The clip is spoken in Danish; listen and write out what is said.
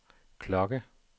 klokke